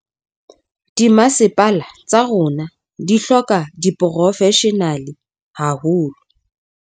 Dimasepala tsa rona di hloka diporofeshenale haholo.